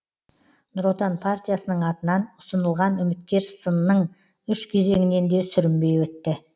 нұр отан партиясының атынан ұсынылған үміткер сынның үш кезеңінен де сүрінбей өтті